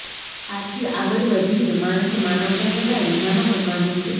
આથી આગળ વધીને માણસે માનવતા જગાડી માનવ બનવાનું છે